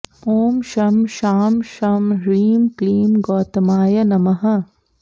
ॐ शं शां षं ह्रीं क्लीं गौतमाय नमः